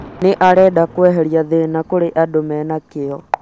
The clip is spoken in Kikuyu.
nĩ arenda kũeheria thĩna kĩrĩa andũ marĩ nakĩo